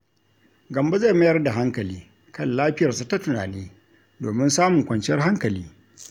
Gambo zai mayar da hankali kan lafiyarsa ta tunani domin samun kwanciyar hankali.